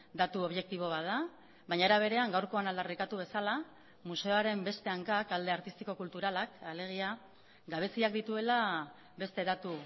datu objektibo bat da baina era berean gaurkoan aldarrikatu bezala museoaren beste hankak alde artistiko kulturalak alegia gabeziak dituela beste datu